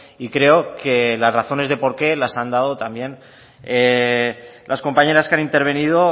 y creo que las razones de por qué las han dado también las compañeras que han intervenido